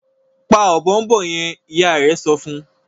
pa Ọ̀bọ̀ọ̀nbọọ̀n yen! ìyá rẹ sọfún.